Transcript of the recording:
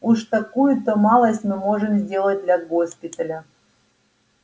уж такую-то малость мы можем сделать для госпиталя